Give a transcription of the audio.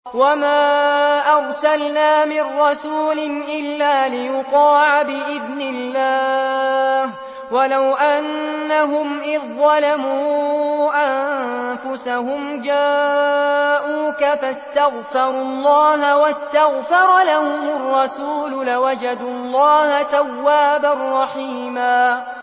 وَمَا أَرْسَلْنَا مِن رَّسُولٍ إِلَّا لِيُطَاعَ بِإِذْنِ اللَّهِ ۚ وَلَوْ أَنَّهُمْ إِذ ظَّلَمُوا أَنفُسَهُمْ جَاءُوكَ فَاسْتَغْفَرُوا اللَّهَ وَاسْتَغْفَرَ لَهُمُ الرَّسُولُ لَوَجَدُوا اللَّهَ تَوَّابًا رَّحِيمًا